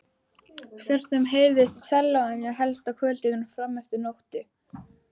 Stundum heyrðist í sellóinu, helst á kvöldin og frameftir nóttu.